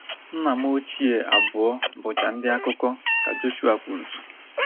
Nna m ochie abụọ bụcha ndị akụkọ, ka Joshua kwuru.